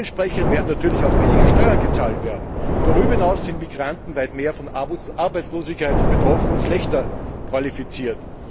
Dementsprechend werden natürlich auch weniger Steuer gezahlt werden. Darüber hinaus sind Migranten weit mehr von Arbeitslosigkeit betroffen und schlechter qualifiziert.